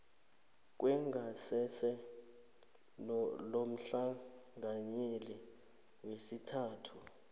kwengasese lomhlanganyeli wesithathu